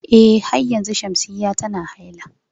Eh har yanzu Shamsiyya tana haila.